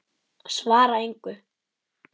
Svara engu.